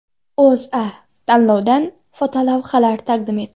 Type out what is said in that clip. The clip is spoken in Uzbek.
O‘zA tanlovdan fotolavhalar taqdim etdi .